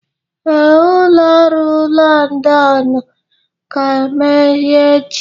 Ee, ụlọ ọrụ Londonu ga-emeghe echi.